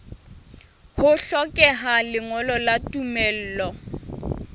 ho hlokeha lengolo la tumello